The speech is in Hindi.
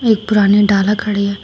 एक पुरानी डाला खड़ी है।